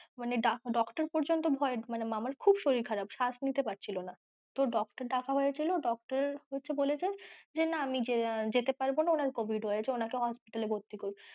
মানে doctor পর্যন্ত ভয়ে মামার খুব শরীর খারাপ শ্বাস নিতে পারছিল না তো doctor ডাকা হয়েছিল doctor হচ্ছে বলেছে না আমি যেতে পারবো না ওনার covid হয়েছে ওনাকে hospital এ ভর্তি করুন।